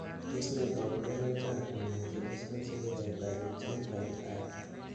Tos nee koborunoikab Immunodeficiency with hyper IgM type 5?